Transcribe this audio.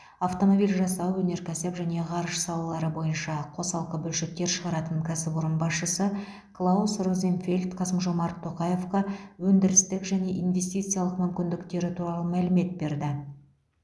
автомобиль жасау өнеркәсіп және ғарыш салалары бойынша қосалқы бөлшектер шығаратын кәсіпорын басшысы клаус розенфельд қасым жомарт тоқаевқа өндірістік және инвестициялық мүмкіндіктері туралы мәлімет берді